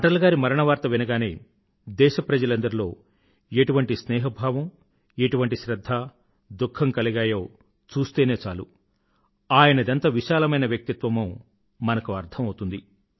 అటల్ గారి మరణవార్త వినగానే దేశప్రజలందరిలో ఎటువంటి స్నేహభావమూ ఎటువంటి శ్రధ్ధ దుఖ్ఖమూ కలిగాయో చూస్తేనే చాలు ఆయనదెంత విశాలమైన వ్యక్తిత్వమో మనకు అర్థం అవుతుంది